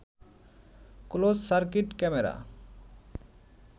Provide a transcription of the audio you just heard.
closed circuit camera